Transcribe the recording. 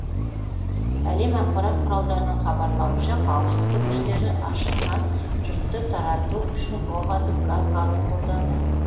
әлем ақпарат құралдарының хабарлауынша қауіпсіздік күштері ашынған жұртты тарату үшін оқ атып газ қаруын қолданды